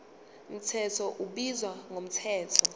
mthetho ubizwa ngomthetho